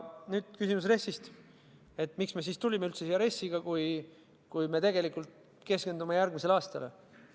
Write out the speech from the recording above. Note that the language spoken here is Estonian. Nüüd küsimus RES-ist – miks me siis tulime üldse siia RES-iga, kui me tegelikult keskendume järgmisele aastale?